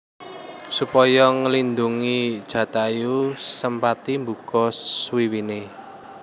Supaya nglindhungi Jatayu Sempati mbuka swiwiné